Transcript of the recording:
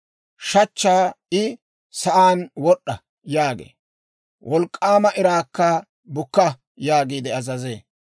Shachchaa I, ‹Sa'aan wod'd'a!› yaagee; wolk'k'aama iraakka, ‹Bukka› yaagiide azazee.